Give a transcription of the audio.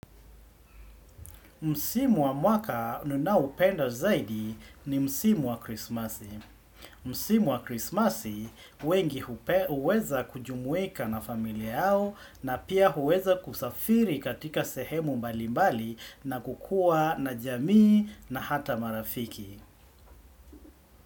Msimu wa mwaka nuna upenda zaidi ni Msimu wa krismasi. Msimu wa krismasi wengi hupe huweza kujumuika na familiao na pia uweza kusafiri katika sehemu mbali mbali na kukua na jamii na hata marafiki.